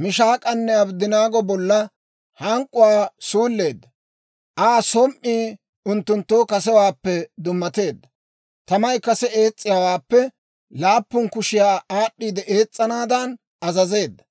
Mishaak'anne Abddanaago bolla hank'k'uwaa suulleedda; Aa som"ii unttunttoo kasewaappe dummateedda. Tamay kase ees's'iyaawaappe laappun kushiyaa aad'd'iide ees's'anaadan azazeedda.